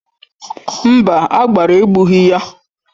Mba, agbara egbughị ya.